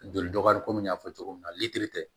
Joli dɔgɔyali komi n y'a fɔ cogo min na litiri tɛ